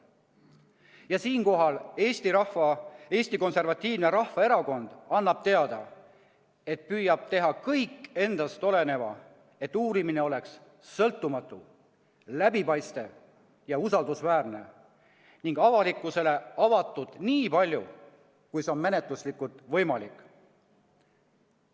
Ja siinkohal annab Eesti Konservatiivne Rahvaerakond teada, et püüab teha kõik endast oleneva, et uurimine oleks sõltumatu, läbipaistev ja usaldusväärne ning avalikkusele avatud nii palju, kui see on menetluslikult võimalik.